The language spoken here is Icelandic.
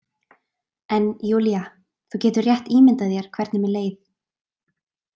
En Júlía, þú getur rétt ímyndað þér hvernig mér leið.